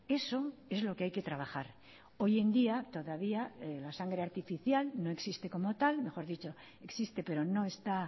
eso es lo que hay que trabajar hoy en día todavía la sangre artificial no existe como tal mejor dicho existe pero no está